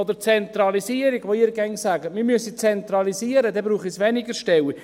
Oder die Zentralisierung: Sie sagen immer, man müsse zentralisieren, dann brauche es weniger Stellen.